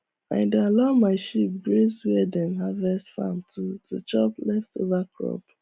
i dey allow my sheep graze where dem harvest farm to to chop leftover crop